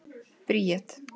Bríet